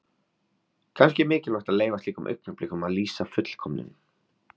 Kannski er mikilvægt að leyfa slíkum augnablikum að lýsa fullkomnun.